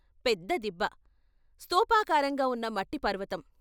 పెద్ద దిబ్బ, స్థూపాకారంగా ఉన్న మట్టిపర్వతం.